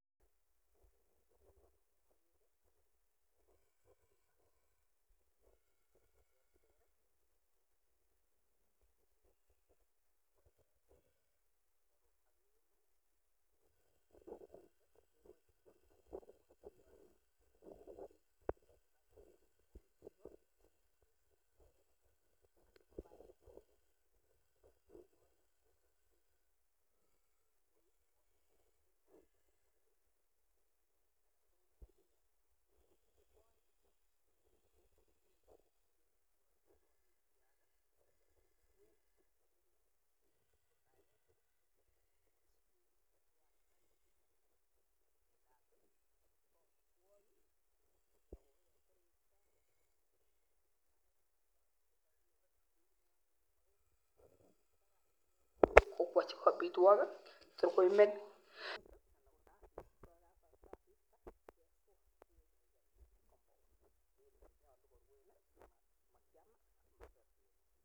Kiyoito ono boisioni en kokweng'ung'?